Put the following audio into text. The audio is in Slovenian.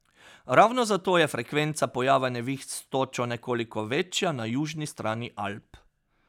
Ravno zato je frekvenca pojava neviht s točo nekoliko večja na južni strani Alp.